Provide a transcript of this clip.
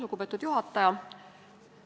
Lugupeetud juhataja!